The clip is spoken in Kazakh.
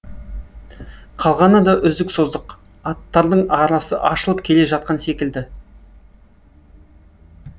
қалғаны да үздік создық аттардың арасы ашылып келе жатқан секілді